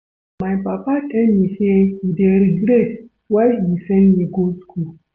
My papa tell me say he dey regret why he send me go school